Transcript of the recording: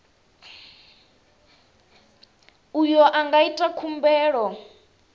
uyo a nga ita khumbelo